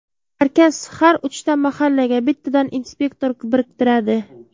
Markaz har uchta mahallaga bittadan inspektor biriktiradi.